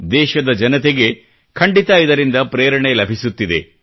ದೇಶದ ಜನತೆಗೆ ಖಂಡಿತ ಇದರಿಂದ ಪ್ರೇರಣೆ ಲಭಿಸುತ್ತಿದೆ